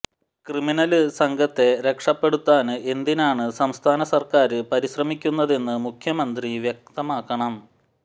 criminal സംഘത്തെ രക്ഷപ്പെടൂത്താന് എന്തിനാണ് സംസ്ഥാന സര്ക്കാര് പരിശ്രമിക്കൂന്നതെന്ന് മുഖ്യമന്ത്രി വുക്തമാക്കണം